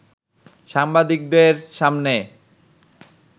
সাংবাদিকদের সামনে